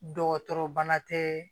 Dɔgɔtɔrɔ bana tɛ